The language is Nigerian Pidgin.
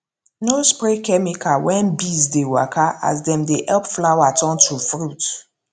no spray chemical when bees dey waka as dem dey help flower turn to fruit